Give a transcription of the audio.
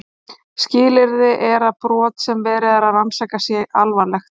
Skilyrði er að brot sem verið er að rannsaka sé alvarlegt.